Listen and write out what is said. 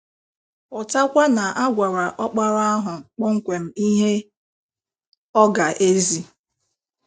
Ghọtakwa na a gwara Ọkpara ahụ kpọmkwem ihe ọ ga - ezi.